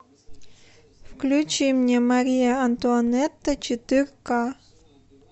включи мне мария антуанетта четыре ка